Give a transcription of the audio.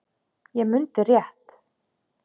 Ég mundi rétt.